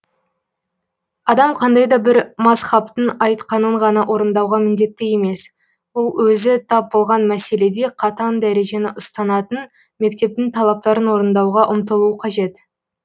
адам қандай да бір мазһабтың айтқанын ғана орындауға міндетті емес ол өзі тап болған мәселеде қатаң дәрежені ұстанатын мектептің талаптарын орындауға ұмтылуы қажет